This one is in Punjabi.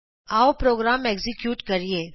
ਆਉ ਪ੍ਰੋਗਰਾਮ ਐਕਜ਼ੀਕਿਯੂਟ ਕਰੀਏ